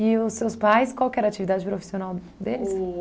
os seus pais, qual que era a atividade profissional deles?